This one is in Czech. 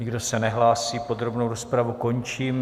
Nikdo se nehlásí, podrobnou rozpravu končím.